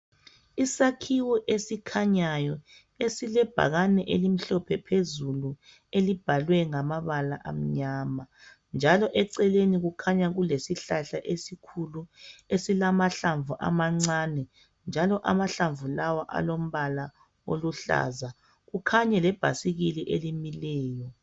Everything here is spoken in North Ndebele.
Isakhiwo esikhanyayo esilebhakane elimhlophe phezulu elibhalwe ngamabala amnyama. Njalo eceleni kukhanya kulesihlahla esikhulu esilamahlamvu amancane njalo amahlamvu lawa alombala oluhlaza kukhanye lebhasikile elimileyo.